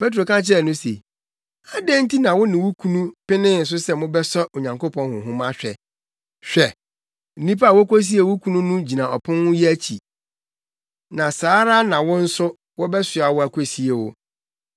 Petro ka kyerɛɛ no se, “Adɛn nti na wo ne wo kunu penee so sɛ mobɛsɔ Onyankopɔn Honhom ahwɛ? Hwɛ! Nnipa a wokosiee wo kunu no gyina ɔpon yi akyi, na saa ara na wo nso, wɔbɛsoa wo akosie wo.”